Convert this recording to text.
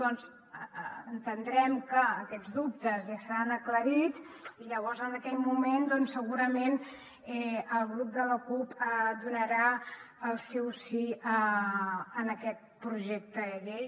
doncs entendrem que aquests dubtes ja seran aclarits i llavors en aquell moment segurament el grup de la cup donarà el seu sí a aquest projecte de llei